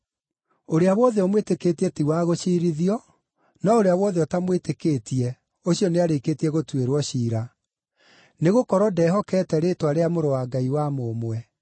Ũrĩa wothe ũmwĩtĩkĩtie ti wa gũciirithio, no ũrĩa wothe ũtamwĩtĩkĩtie ũcio nĩarĩkĩtie gũtuĩrwo ciira, nĩgũkorwo ndehokete rĩĩtwa rĩa Mũrũ wa Ngai wa mũmwe.